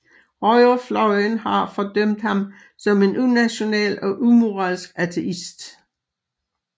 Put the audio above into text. Højrefløjen har fordømt ham som en unational og umoralsk ateist